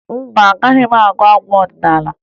Mba, agaghị m agụ abụ ọdịnaala